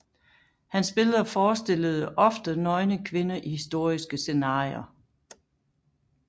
Hans billeder forestillede ofte nøgne kvinder i historiske scenarier